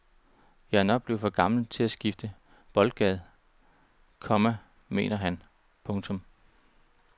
Jeg er nok blevet for gammel til at skifte boldgade, komma mener han. punktum